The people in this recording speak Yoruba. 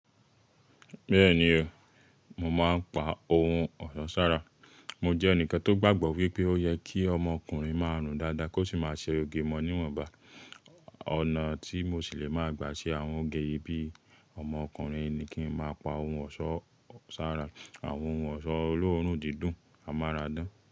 Bẹ́ẹ̀ni o, mo máa ń pa ohun ọ̀ṣọ́ sára. Mo jẹ́ ẹnìkan tó gbàgbọ́ wípé ó yẹ kí ọmọ ọkùnrin máa rùn dáadáa kó sì máa ṣe òge mọ níwọ̀nba. Ọ̀nà tí mo sì lè máa gbà ṣe àwọn oge yìí bíi ọmọ ọkùnrin ni kí n máa pa ohun ọ̀ṣọ́ sára, àwọn ohun ọ̀ṣọ́ olóórùn dídùn amáradán.